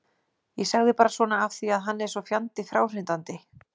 Ég sagði bara svona af því að hann er svo fjandi fráhrindandi.